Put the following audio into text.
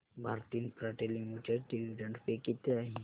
Bharti Infratel Limited dividend pay किती आहे